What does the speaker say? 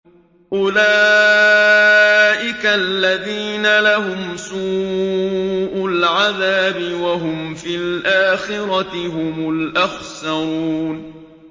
أُولَٰئِكَ الَّذِينَ لَهُمْ سُوءُ الْعَذَابِ وَهُمْ فِي الْآخِرَةِ هُمُ الْأَخْسَرُونَ